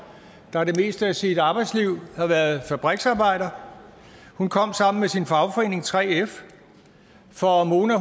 der det meste af sit arbejdsliv havde været fabriksarbejder hun kom sammen med sin fagforening 3f for mona